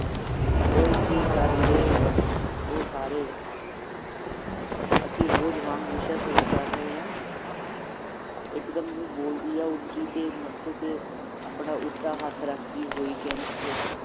ਓਏ ਕਿ ਕਰ ਰਹੇ ਊ ਸਾਰੇ ਅਸੀਂ ਰੋਜ਼ ਵਾਂਗ ਵਿਸ਼ਾ ਸ਼ੁਰੂ ਕਰ ਰਹੇ ਹਾਂ ਇਕਦਮ ਹੀ ਬੋਲਦੀ ਹੈ ਉੱਚੀ ਤੇ ਮੱਥੇ ਤੇ ਆਪਣਾ ਉਲਟਾ ਹੱਥ ਰੱਖਦੀ ਹੋਈ ਕਹਿੰਦੀ ਹੈ